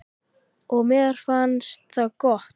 Og mér finnst það gott.